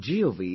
gov